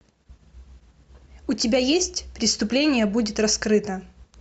у тебя есть преступление будет раскрыто